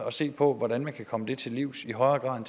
at se på hvordan man kan komme det til livs i højere grad